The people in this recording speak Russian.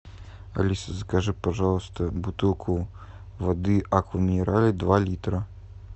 алиса закажи пожалуйста бутылку воды аква минерале два литра